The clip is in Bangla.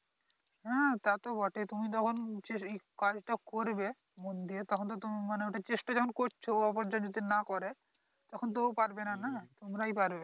হ্যাঁ তাতো বটেই তুমি যখন চেস এই কাজটা করবে মন দিয়ে তখন তো তোমার মানি ওইটার চেষ্টা যখন করছো অপরজন যদি নাহ করে তখন তো ও পারবেনা না তোমরাই পারবে